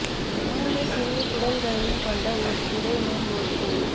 மூன்று சிறிய குடல்களையும் கொண்ட ஒரு திரை மேல் ஒரு கூழ்